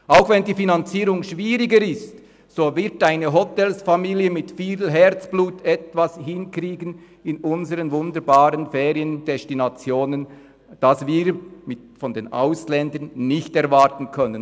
Auch wenn die Finanzierung schwieriger ist, wird eine Hotelierfamilie mit viel Herzblut in unseren wunderbaren Feriendestinationen etwas hinkriegen, das wir von den Ausländern nicht erwarten können.